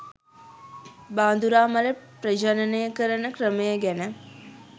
බාඳුරා මල ප්‍රජනනය කරන ක්‍රමය ගැන.